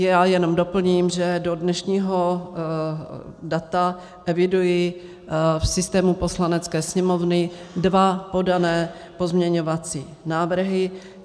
Já jenom doplním, že do dnešního data eviduji v systému Poslanecké sněmovny dva podané pozměňovací návrhy.